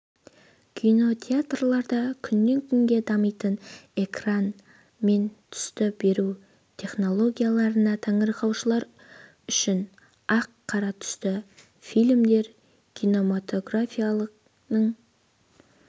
кинотеатрларда күннен күнге дамитын экран мен түсті беру технологияларына таңырқаушылар үшін ақ-қара түсті фильмдер кинемотографияның